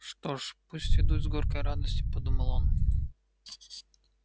что ж пусть ведут с горькой гордостью подумал он